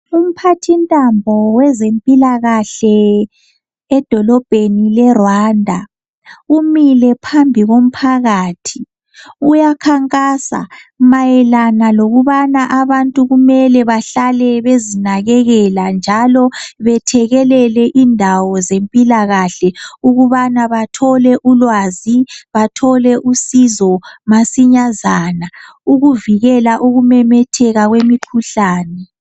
Umphathintambo wezempilakahle edolobheni leRwanda umile phambi komphakathi uyakhankasa mayelana lokubana abantu kumele bahlale bezinakekela njalo bethekelele indawo zempilakahle ukubana bathole ulwazi bathole usizo basinyazana ukuvikela ukumemetheka kwemikhuhlane.